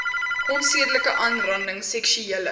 onsedelike aanranding seksuele